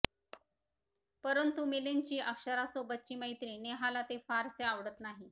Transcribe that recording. परंतु मिलिंदची अक्षरासोबतची मैत्री नेहाला ते फारसे आवडत नाही